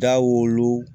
Dawolo